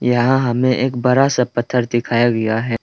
यहां हमें एक बड़ा सा पत्थर दिखाया गया है।